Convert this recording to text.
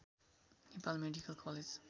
Nepal medical college